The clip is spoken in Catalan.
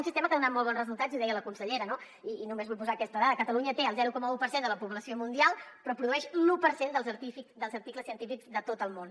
un sistema que ha donat molt bons resultats i ho deia la consellera no i només vull posar aquesta dada catalunya té el zero coma un per cent de la població mundial però produeix l’un per cent dels articles científics de tot el món